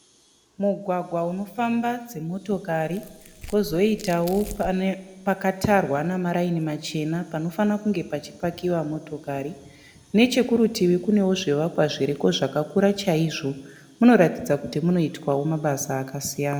Mugwagwa unofamba dzimotokari kwozoitawo pakatarwa namaraini machena panofanira kunge pachipakiwa motokari. Nechekurutivi kunewo zvivakwa zviriko zvakakura chaizvo. Munoratidza kuti munoitwawo mabasa akasiyana.